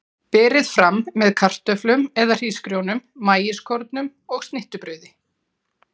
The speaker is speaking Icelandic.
Berið fram með kartöflum eða hrísgrjónum, maískornum og snittubrauði.